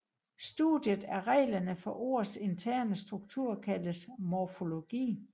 Studiet af reglerne for ords interne struktur kaldes morfologi